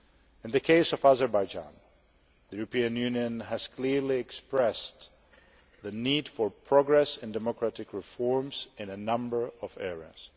In the case of Azerbaijan, the European Union has clearly expressed the need for progress in democratic reforms in a number of areas.